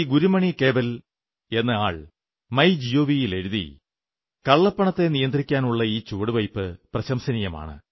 ഗുരുമണി കേവൽ എന്ന ആൾ My Gov ൽ എഴുതി കള്ളപ്പണത്തെ നിയന്ത്രിക്കാനുള്ള ഈ ചുവടുവയ്പ്പ് പ്രശംസനീയമാണ്